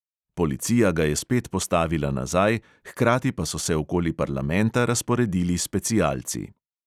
Policija ga je spet postavila nazaj, hkrati pa so se okoli parlamenta razporedili specialci.